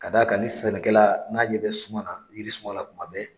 Ka d'a ka ni sɛnɛkɛla, n'a ɲɛ bɛ suma, jiri suma la tuma bɛɛ.